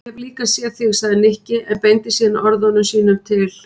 Ég hef líka séð þig sagði Nikki en beindi síðan orðum sínum til